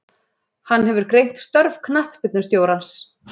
Hann hefur greint störf knattspyrnustjórans.